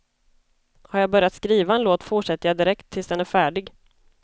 Har jag börjat skriva en låt fortsätter jag direkt tills den är färdig.